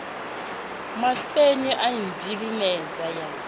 mapfene a i vhilimedza ya